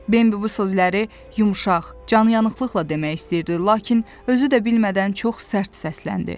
Bembi bu sözləri yumşaq, canyanğılıqla demək istəyirdi, lakin özü də bilmədən çox sərt səsləndi.